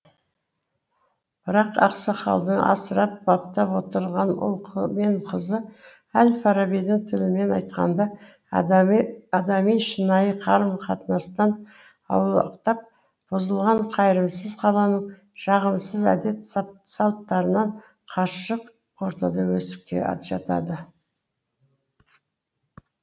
бірақ ақсақалдың асырап баптап отырған ұл мен қызы әл фарабидің тілімен айтқанда адами шынайы қарым қатынастан аулақтап бұзылған қайырымсыз қаланың жағымсыз әдет салттарынан қашық ортада өсіп жатады